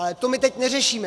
Ale to my teď neřešíme.